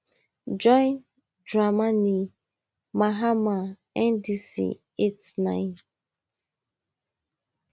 john dramani mahama ndc eight nine